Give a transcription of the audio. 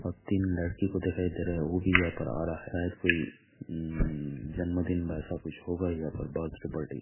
और तीन लड़की को दिखाई दे रहा है वह भी यहां पर आ रहा है शायद कोइ जन्म दिन ऐसा कुछ होगा बर्थडे पार्टी --